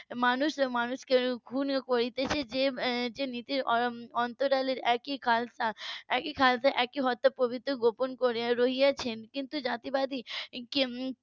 মানুষ মানুষকে খুন করছে যে যে নীতির অন্তরালের একই . একই হত্যাপ্রবিত্তি গোপন করে রয়েছেন কিন্তু জাতিবাদী উম